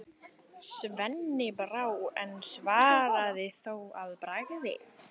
Sveini brá, en svaraði þó að bragði: